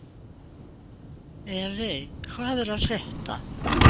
Evey, hvað er að frétta?